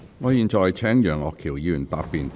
我現在請楊岳橋議員發言答辯。